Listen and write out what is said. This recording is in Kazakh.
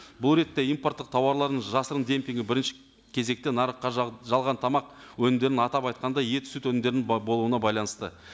бұл ретте импорттық тауарларын жасырын демпингі бірінші кезекете нарыққа жалған тамақ өнімдерін атап айтқанда ет сүт өнімдерінің болуына байланысты